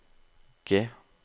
G